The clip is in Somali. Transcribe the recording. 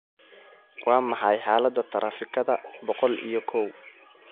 Waa maxay xaaladda taraafikada boqol iyo kow?